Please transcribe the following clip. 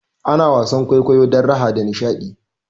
Ana wasan kwaikwayo don raha da nishaɗi